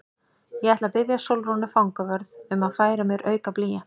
Ég ætla að biðja Sólrúnu fangavörð um að færa mér auka blýant.